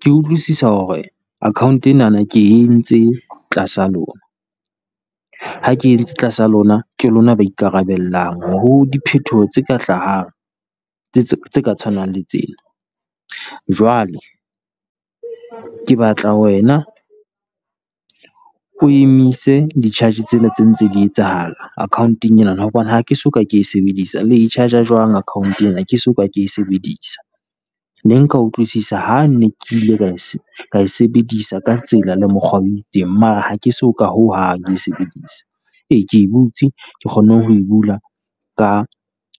Ke utlwisisa hore account enana ke entse tlasa lona, ha ke entse tlasa lona ke lona ba ikarabellang ho diphetoho tse ka hlahang tse ka tshwanang le tsena. Jwale ke batla wena o emise di charge tsena tse ntse di etsahala account-eng enana, hobane ha ke soka ke e sebedisa. Le e charge-a jwang account ena ke so ke e sebedisa? Ne nka utlwisisa ha ne ke ile ka e sebedisa ka tsela le mokgwa o itseng, mara ha ke so ka ho hang le ho e sebedisa. Ee ke e butse, Ke kgonne ho e bula ka